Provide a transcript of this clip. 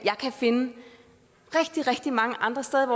finde rigtig rigtig mange andre steder